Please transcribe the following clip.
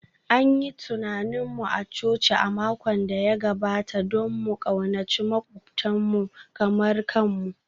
An yi tunanin mu a coci a makon da ya gabata don mu ƙaunaci maƙwabtanmu kamar kanmu